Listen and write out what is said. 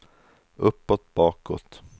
uppåt bakåt